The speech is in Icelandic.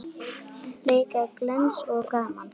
Leikir glens og gaman.